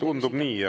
Tundub nii.